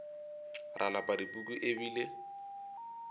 ra lapa dipuku e bile